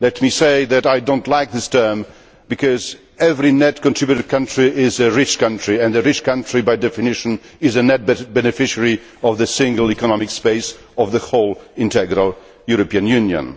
Let me say that I do not like this term, because every net contributor country is a rich country and the rich country, by definition, is a net beneficiary of the single economic space of the whole, integral European Union.